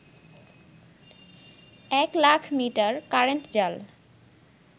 এক লাখমিটার কারেন্ট জাল